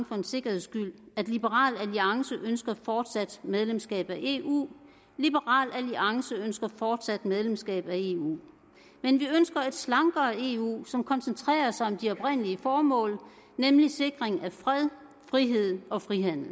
for en sikkerheds skyld at liberal alliance ønsker fortsat medlemskab af eu liberal alliance ønsker fortsat medlemskab af eu men vi ønsker et slankere eu som koncentrerer sig om de oprindelige formål nemlig sikring af fred frihed og frihandel